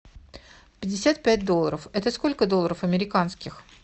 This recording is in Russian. пятьдесят пять долларов это сколько долларов американских